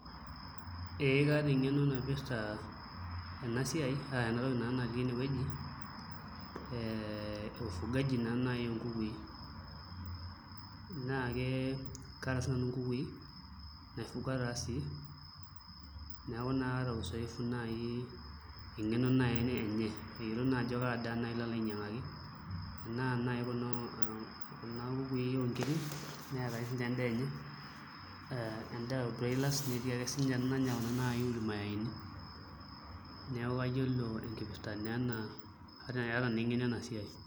Ee kaata eng'eno naipirta ena siai ena toki naa natii enewueji ee ufugaji naa naai oonkukui naa ke kaata sinanu nkukui naifuga taa sii neeku kaata uzoefu, eng'eno naa enye ayiolo naa naai ajo kaa daa alo ainyiang'aki enaa Kuna kukui oonkiri neeta sininye endaa enye, endaa obroilers, netii ake sininye enanya naai Kuna ormayeini, neeku aata naa eng'eno ena siai.